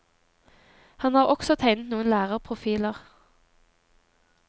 Han har også tegnet noen lærerprofiler.